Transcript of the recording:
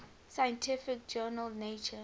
scientific journal nature